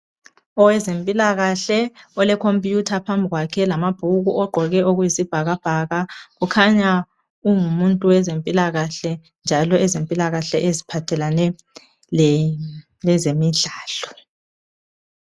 Owezempikahle olekhomputha phambi kwakhe lamabhuku ogqoke okuyisibhakabhaka ukhanya ungumuntu wezempilakahle njalo ezempilakahle eziphathalane lezemidlalo.